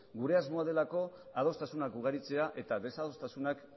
gure asmoa delako adostasunak ugaritzea eta desadostasunak